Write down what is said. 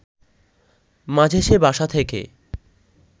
মাঝে সে বাসা থেকে